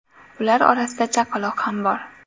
Ular orasida chaqaloq ham bor.